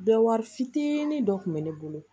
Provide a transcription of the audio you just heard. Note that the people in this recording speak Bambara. Bɛɛ wari fitinin dɔ tun bɛ ne bolo